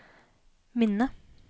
minne